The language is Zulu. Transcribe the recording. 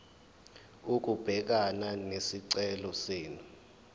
ukubhekana nesicelo senu